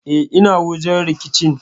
E, ina wajen rikicin.